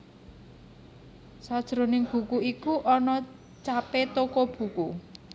Sajroning buku iku ana capé toko buku